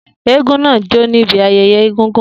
Eégún náà jó níbi ayẹyẹ Egungun.